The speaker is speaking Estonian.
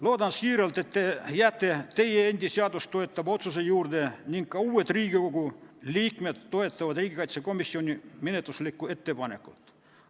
Loodan siiralt, et te jääte teie enda seadust toetava otsuse juurde ning ka uued Riigikogu liikmed toetavad riigikaitsekomisjoni menetluslikku ettepanekut.